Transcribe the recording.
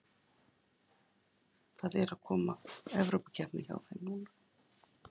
Það er að koma Evrópukeppni núna hjá þeim.